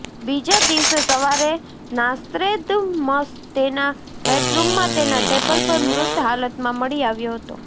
બીજા દિવસે સવારે નાસ્ત્રેદમસ તેના બેડરૂમમાં તેના ટેબલ પર મૃત હાલતમાં મળી આવ્યો હતો